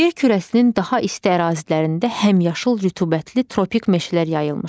Yer kürəsinin daha isti ərazilərində həmişəyaşıl rütubətli tropik meşələr yayılmışdır.